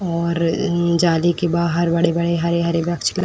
और म्म जाली के बाहर बड़े-बड़े हरे-हरे वृक्ष ल --